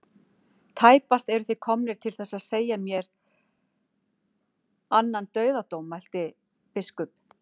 Tæpast eruð þið komnir til þess að segja yfir mér annan dauðadóm, mælti biskup.